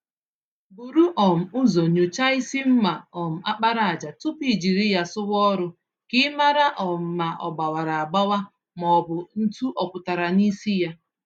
Búrú um ụzọ nyocha ísì mma um àkpàràjà tupu ijiri ya sụwa ọrụ, k'ịmara um ma ogbawara agbawa mọbụkwanụ̀ ntú ọ pụtara nisi yá.